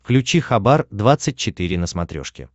включи хабар двадцать четыре на смотрешке